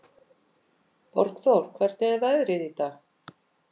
Borgþór, hvernig er veðrið í dag?